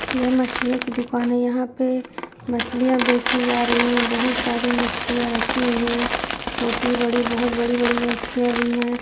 यह मछलियों की दुकान है यहाॅं पे मछलियाॅं बेची जा रही हैं बहुत सारी मछलियाॅं रखी हुई हैं छोटी-बड़ी बोहोत बड़ी-बड़ी मछलियाॅं भी हैं।